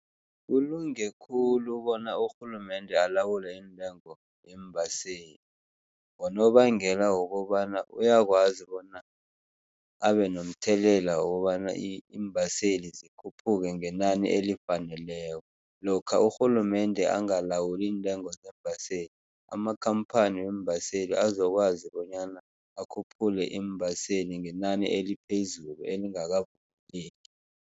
Kulunge khulu bona urhulumende alawule iintengo yeembaseli ngonobangela wokobana uyakwazi bona abenomthelela wokobana iimbaseli zikhuphuke ngenani elifaneleko. Lokha urhulumende angalawuli iintengo zeembaseli, amakhamphani weembaseli azokwazi bonyana akhuphule iimbaseli ngenani eliphezulu